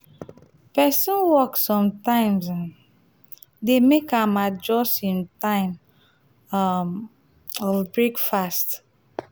pesin work sometimes um dey make am adjust im time um of um breakfast.